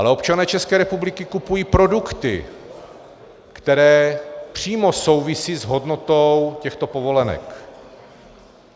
Ale občané České republiky kupují produkty, které přímo souvisejí s hodnotou těchto povolenek.